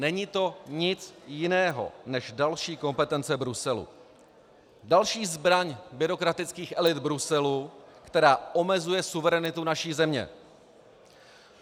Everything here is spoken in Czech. Není to nic jiného než další kompetence Bruselu, další zbraň byrokratických elit Bruselu, která omezuje suverenitu naší země.